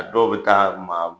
A dɔw bɛ taa maa